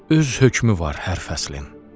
Öz hökmü var hər fəslin.